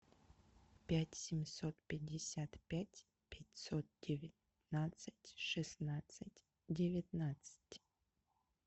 пять семьсот пятьдесят пять пятьсот девятнадцать шестнадцать девятнадцать